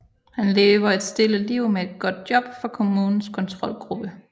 Han lever et stille liv med et godt job for kommunens kontrolgruppe